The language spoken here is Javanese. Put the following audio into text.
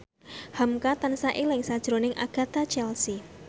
hamka tansah eling sakjroning Agatha Chelsea